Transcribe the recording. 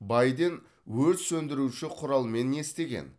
байден өрт сөндіруші құралмен не істеген